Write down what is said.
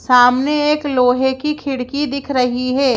सामने एक लोहे की खिड़की दिख रही है।